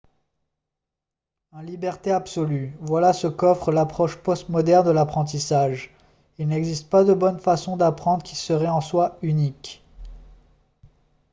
un liberté absolue voilà ce qu'offre l'approche post-moderne de l'apprentissage il n'existe pas de bonne façon d'apprendre qui serait en soi unique